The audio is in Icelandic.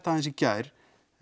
aðeins í gær